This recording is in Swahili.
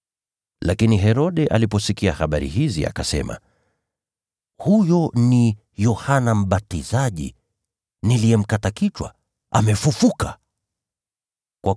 Lakini Herode aliposikia habari hizi, akasema, “Huyo ni Yohana Mbatizaji, niliyemkata kichwa, amefufuliwa kutoka kwa wafu!”